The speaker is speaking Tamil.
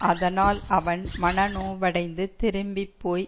அதனால் அவன் மனநோவடைந்து திரும்பி போய்